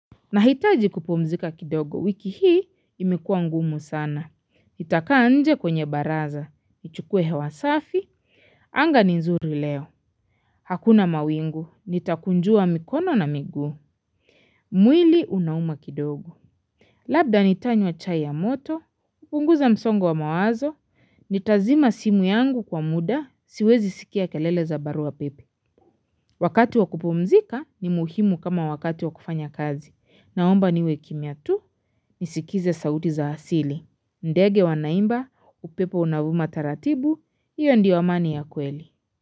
Nahitaji kupumzika kidogo wiki hii imekua ngumu sana. Nitakaa nje kwenye baraza. Nichukue hewa safi. Anga ni nzuri leo. Hakuna mawingu. Nitakunjua mikono na miguu. Mwili unauma kidogo. Labda nitanywa chai ya moto. Kupunguza msongo wa mawazo. Nitazima simu yangu kwa muda. Siwezi sikia kelele za barua pepe. Wakati wa kupumzika ni muhimu kama wakati wa kufanya kazi. Naomba niwe kimya tu. Nisikize sauti za asili ndege wanaimba upepo unavuma taratibu hiyo ndio amani ya kweli.